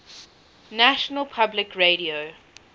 national public radio